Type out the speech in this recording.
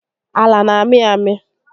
Ala n'amị amị